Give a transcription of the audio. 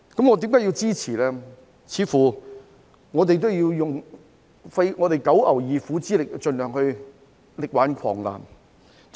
我們似乎要用九牛二虎之力盡量力挽狂瀾。